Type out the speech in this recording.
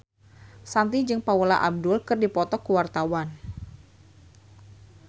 Shanti jeung Paula Abdul keur dipoto ku wartawan